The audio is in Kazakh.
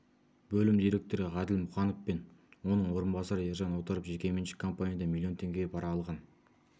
бөлім директоры ғаділ мұқанов пен оның орынбасары ержан отаров жекеменшік компаниядан миллион теңге пара алған